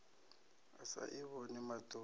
a sa i vhoni maṱoni